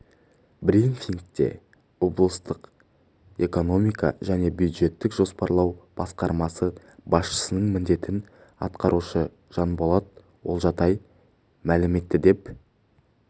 брифингте облыстық экономика және бюджеттік жоспарлау басқармасы басшысының міндетін атқарушы жанболат олжатай мәлім етті деп